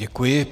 Děkuji.